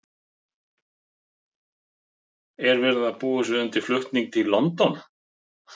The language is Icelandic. Er verið að búa sig undir flutning til London?